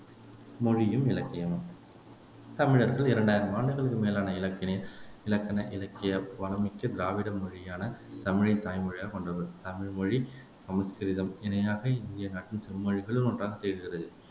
மொழியும் இலக்கியமும் தமிழர்கள் இரண்டாயிரம் ஆண்டுகளுக்கும் மேலான இலக்கென இலக்கண இலக்கிய வளம் மிக்க திராவிட மொழியான தமிழைத் தாய் மொழியாகக் கொண்டவர்கள் தமிழ் மொழி சமஸ்கிருதம் இணையாக இந்திய நாட்டின் செம்மொழிகளில் ஒன்றாகத் திகழ்கிறது